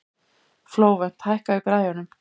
Flóvent, hækkaðu í græjunum.